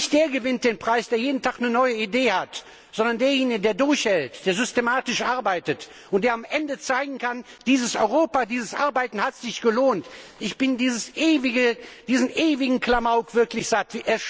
Nicht der gewinnt den Preis, der jeden Tag eine neue Idee hat, sondern derjenige, der durchhält, der systematisch arbeitet und der am Ende zeigen kann Dieses Europa, dieses Arbeiten hat sich gelohnt! Ich bin diesen ewigen Klamauk wirklich leid.